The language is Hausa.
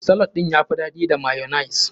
Salad ɗin ya fi daɗi da mayonnaise.